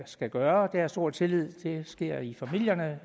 skal gøre jeg har stor tillid til at det sker i familierne